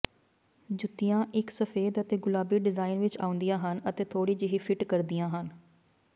ਜੁੱਤੀਆਂ ਇਕ ਸਫੈਦ ਅਤੇ ਗੁਲਾਬੀ ਡਿਜ਼ਾਈਨ ਵਿਚ ਆਉਂਦੀਆਂ ਹਨ ਅਤੇ ਥੋੜ੍ਹੀ ਜਿਹੀ ਫਿੱਟ ਕਰਦੀਆਂ ਹਨ